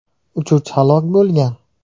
Uchuvchi halok bo‘lgan.